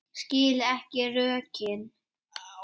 Skil ekki rökin.